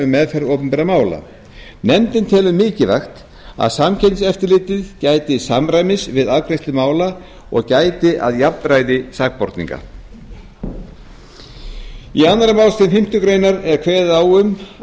meðferð opinberra mála nefndin telur mikilvægt að samkeppniseftirlitið gæti samræmis við afgreiðslu mála og gæti að jafnræði sakborninga eitt af verkefnum nefndar um viðurlög við efnahagsbrotum var